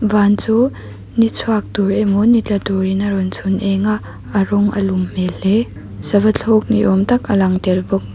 van chu ni chhuak tur emaw ni tla turin a rawn chhun eng a a rawng a lum hmel hle sava thlawk niawm tak alang tel bawk.